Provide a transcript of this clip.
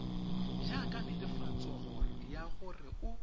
jaaka netefatso ya gore o